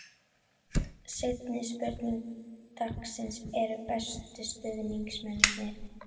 Seinni spurning dagsins er: Bestu stuðningsmennirnir?